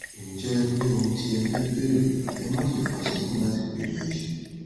ǹjẹ ẹ ní ohun tí ẹ fẹ bèèrè ẹ máṣe fà sẹyìn láti béèrè ẹ ṣé